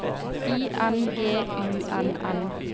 I N G U N N